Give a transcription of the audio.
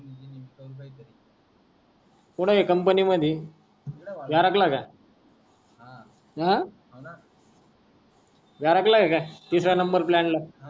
कुठ आहे company मधी, व्यारघ ला का. हा. हा. हाव ना तिसऱ्या नंबर प्लान ला.